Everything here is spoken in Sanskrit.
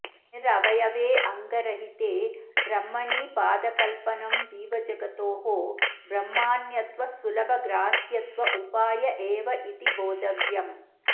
निरवयवेऽङ्गरहिते ब्रह्मणि पादकल्पनं जीवजगतोः ब्रह्मान्यत्वसुलभग्राह्यत्व उपाय एव इति बोद्धव्यम्